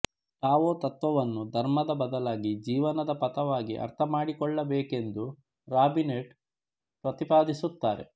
Tao ತತ್ತ್ವವನ್ನು ಧರ್ಮದ ಬದಲಾಗಿ ಜೀವನದ ಪಥವಾಗಿ ಅರ್ಥಮಾಡಿಕೊಳ್ಳಬೇಕು ಎಂದು ರಾಬಿನೆಟ್ ಪ್ರತಿಪಾದಿಸುತ್ತಾರೆ